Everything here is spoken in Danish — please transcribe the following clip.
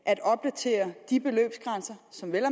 at opdatere de beløbsgrænser som vel at